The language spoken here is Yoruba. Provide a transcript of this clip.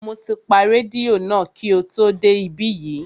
Mo ti pa rédíò náà kí o tó dé ibí yìí